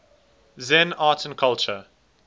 zen art and culture